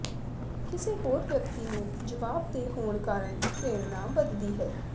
ਕਿਸੇ ਹੋਰ ਵਿਅਕਤੀ ਨੂੰ ਜਵਾਬਦੇਹ ਹੋਣ ਕਾਰਨ ਪ੍ਰੇਰਣਾ ਵਧਦੀ ਹੈ